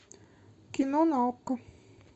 кино на окко